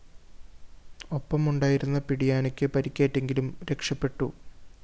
ഒപ്പമുണ്ടായിരുന്ന പിടിയാനക്ക് പരിക്കേറ്റെങ്കിലും രക്ഷപെട്ടു